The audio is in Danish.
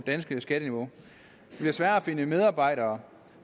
danske skatteniveau det bliver sværere at finde medarbejdere